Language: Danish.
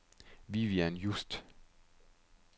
Vivian Just